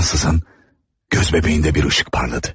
Ansızın göz bəbəyində bir işıq parladı.